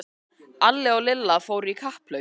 Alli og Lilla fóru í kapphlaup.